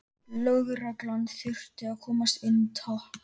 Lögreglan þurfti að komast inn, takk!